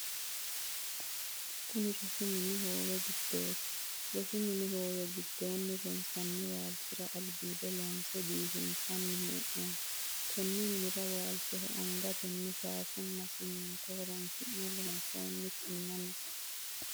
Kunni rosu minni hoowe gidoonniiti. Rosu minni hoowe gidoonni ronsanni waalchira albiido loonse biifinsanni hee'noonni. Konni minnira waalchoho angatenni shaafanna siminto horoonsi'ne loonsoonni kinna no.